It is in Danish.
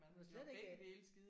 For slet ikke at